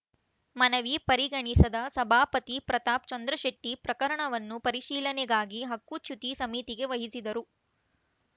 ಮನವಿ ಪರಿಗಣಿಸಿದ ಸಭಾಪತಿ ಪ್ರತಾಪ್‌ ಚಂದ್ರಶೆಟ್ಟಿ ಪ್ರಕರಣವನ್ನು ಪರಿಶೀಲನೆಗಾಗಿ ಹಕ್ಕುಚ್ಯುತಿ ಸಮಿತಿಗೆ ವಹಿಸಿದರು